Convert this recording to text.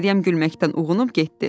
Məryəm gülməkdən uyğunub getdi.